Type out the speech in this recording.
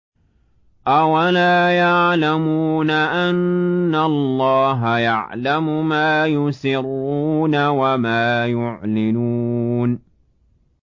أَوَلَا يَعْلَمُونَ أَنَّ اللَّهَ يَعْلَمُ مَا يُسِرُّونَ وَمَا يُعْلِنُونَ